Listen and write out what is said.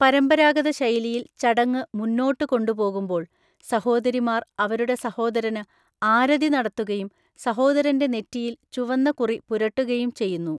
പരമ്പരാഗത ശൈലിയിൽ ചടങ്ങ് മുന്നോട്ട് കൊണ്ടുപോകുമ്പോൾ, സഹോദരിമാർ അവരുടെ സഹോദരന് ആരതി നടത്തുകയും സഹോദരന്റെ നെറ്റിയിൽ ചുവന്ന കുറി പുരട്ടുകയും ചെയ്യുന്നു.